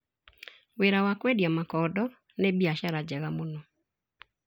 Wĩra wa kwendia makondo nĩ biashara njega mũno.